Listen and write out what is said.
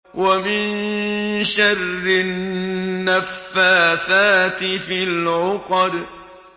وَمِن شَرِّ النَّفَّاثَاتِ فِي الْعُقَدِ